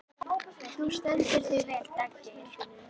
Þú stendur þig vel, Daggeir!